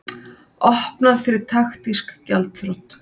Opnað fyrir taktísk gjaldþrot